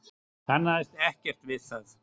Kannaðist ekkert við það.